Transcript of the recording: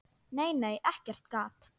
Nei, nei, ekkert gat!